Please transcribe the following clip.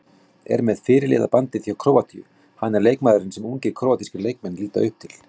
Er með fyrirliðabandið hjá Króatíu, hann er leikmaðurinn sem ungir króatískir leikmenn líta upp til.